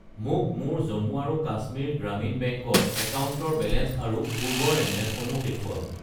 মোক মোৰ জম্মু আৰু কাশ্মীৰ গ্ৰামীণ বেংক ৰ একাউণ্টৰ বেলেঞ্চ আৰু পূৰ্বৰ লেনদেনসমূহ দেখুৱাওক।